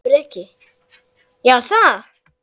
Breki: Já, er það?